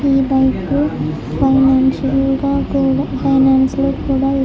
ఈ bike financial గ కూడా ఫైనాన్స్ లో కూడా ఇస్తారు.